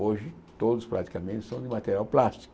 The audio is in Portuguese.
Hoje, todos praticamente são de material plástico.